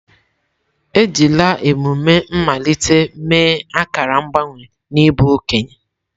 Ejila emume mmalite mee akara mgbanwe n'ịbụ okenye.